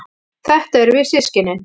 Þetta erum við systkinin.